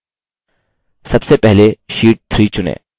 सबसे पहले sheet 3 चुनें